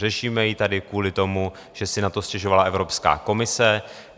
Řešíme ji tady kvůli tomu, že si na to stěžovala Evropská komise.